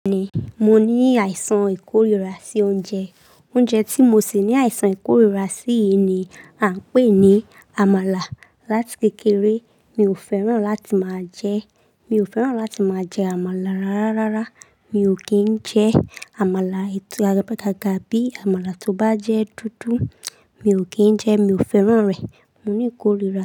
Bẹ́ẹ̀ni, mo ní àìsàn ìkórìíra sí oúnjẹ. Oúnjẹ tí mo sì ní àìsàn ìkórìíra sí ni à ń pè ní àmàlà. Látì kékeré mi ò fẹ́ràn láti máa jẹ. Amala rara. Rárá, mi ò kí ń jẹ àmàlà etù, gàbi àmàlà tó bá jẹ́ dúdú, mi ò kí ń jẹ ẹ́, mi ò fẹ́ràn rẹ̀. Mo ní ìkórìíra.